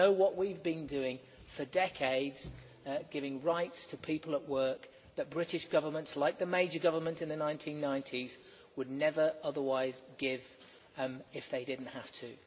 They know what we have been doing for decades in giving rights to people at work which British governments, like the Major government in the 1990s, would never otherwise give if they did not have to.